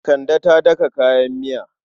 Kande ta daka kayan miya.